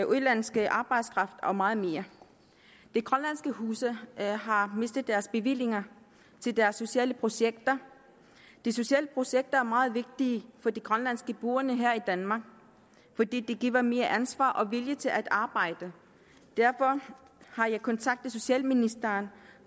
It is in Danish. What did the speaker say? udenlandsk arbejdskraft og meget mere de grønlandske huse har mistet deres bevillinger til deres sociale projekter de sociale projekter er meget vigtige for de grønlandske boende her i danmark for de giver mere ansvar og vilje til at arbejde derfor har jeg kontaktet socialministeren